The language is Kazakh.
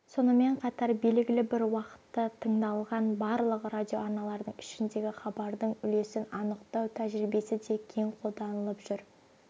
сонымен қатар белгілі бір уақытта тыңдалған барлық радиоарналардың ішіндегі хабардың үлесін анықтау тәжірибесі де кең қолданылып жүр